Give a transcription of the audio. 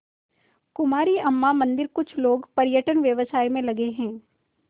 कुमारी अम्मा मंदिरकुछ लोग पर्यटन व्यवसाय में लगे हैं